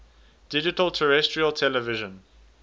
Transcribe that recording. digital terrestrial television